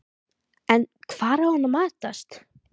En hvar á hann að matast?